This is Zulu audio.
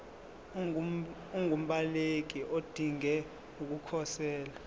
ungumbaleki odinge ukukhosela